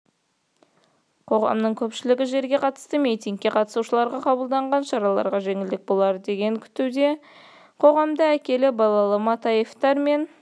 қоғамның көпшілігі жерге қатысты митингіге қатысушыларға қабылданған шараларға жеңілдік болар деп күтуде қоғамда әкелі-балалы матаевтар мен